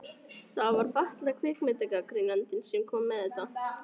Það var fatlaði kvikmyndagagnrýnandinn sem kom með þetta.